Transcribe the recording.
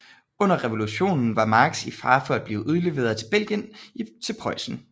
Under revolutionen var Marx i fare for at blive udleveret fra Belgien til Preussen